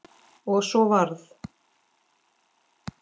Og svo varð.